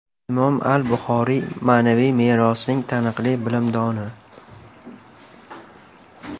Imom al-Buxoriy ma’naviy merosining taniqli bilimdoni.